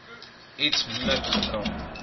iets moeilik dra